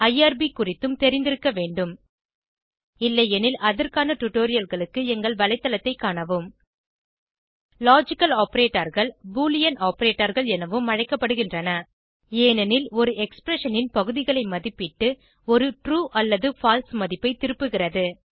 IRB குறித்தும் தெரிந்திருக்க வேண்டும் இல்லையெனில் அதற்கான டுடோரியல்களுக்கு எங்கள் வலைத்தளத்தைக் காணவும் லாஜிக்கல் Operatorகள் பூலியன் Operatorகள் எனவும் அழைக்கப்படுகின்றன ஏனெனில் ஒரு எக்ஸ்பிரஷன் ன் பகுதிகளை மதிப்பிட்டு ஒரு ட்ரூ அல்லது பால்சே மதிப்பை திருப்புகிறது